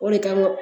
O de kama